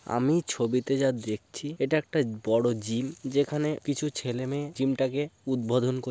আমি ছবিটিতে যা দেখছি এটা একটা বড়ো জিম । যেখানে কিছু ছেলে মেয়ে জিম